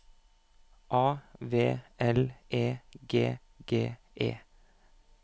A V L E G G E